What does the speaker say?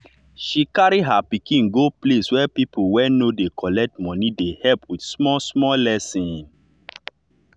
she carry her pikin go place wey people wey no dey collect money dey help with small small lesson.